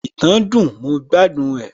ìtàn dùn, mo gbádùn ẹ